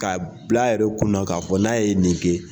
K'a bil'a yɛrɛ kunna k'a fɔ n'a ye nin kɛ